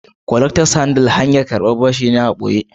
"collectors handle"hanyar karban bashi ne hankali